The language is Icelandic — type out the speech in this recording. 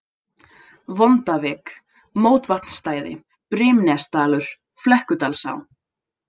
Vondavik, Móvatnsstæði, Brimnesdalur, Flekkudalsá